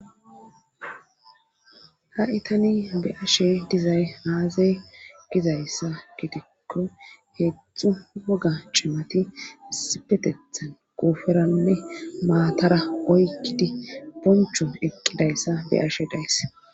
Ha itani be ashe dizay aaza gizayssa gidikko heedzdzu woga cimati isipetethan guuferanne maatara oykkidi boncho eqqidayssa be ashe daysse.